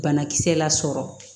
Banakisɛ lasɔrɔ